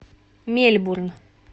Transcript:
мельбурн